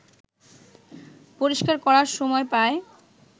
পরিষ্কার করার সময় পায়